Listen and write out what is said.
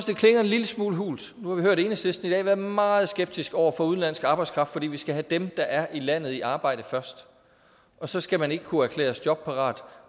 det klinger en lille smule hult nu har vi hørt enhedslisten i dag være meget skeptiske over for udenlandsk arbejdskraft fordi vi skal have dem der er i landet i arbejde først og så skal man ikke kunne erklæres jobparat